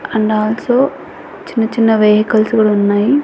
And also చిన్న చిన్న vehicles కూడా ఉన్నాయి.